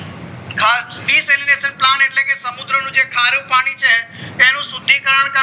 decelenation એટલે કે સમુદ્ર નું જે ખરું પાણી છે એનું શુદ્ધિકરણ કરવું